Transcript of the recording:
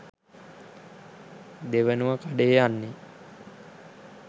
දෙවනුව කඩේ යන්නේ